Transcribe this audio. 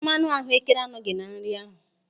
Mmanụ ahuekere anọghị na nri ahụ.